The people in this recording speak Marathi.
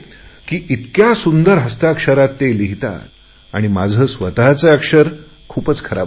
की इतक्या सुंदर हस्ताक्षरात लिहितात आणि माझे स्वतचे अक्षर खूपच खराब आहे